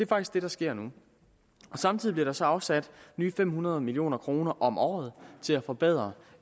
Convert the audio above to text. faktisk det der sker nu samtidig bliver der så afsat nye fem hundrede million kroner om året til at forbedre